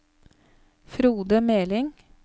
Frode Meling